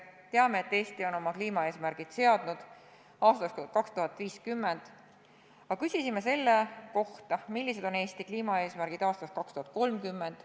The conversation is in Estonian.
Teame, et Eesti on kliimaeesmärgid seadnud aastaks 2050, aga me küsisime selle kohta, millised on Eesti kliimaeesmärgid aastaks 2030.